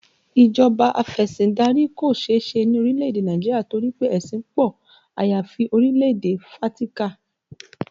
Ìjọba afesindari kò seese ni orílẹ̀ èdè Nàìjíríà torí pé ẹṣin pọ, àyàfi orílẹ̀ èdè Fátíkà